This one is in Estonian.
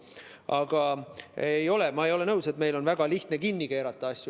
Aga ma ei ole nõus, et meil on väga lihtne asju kinni keerata.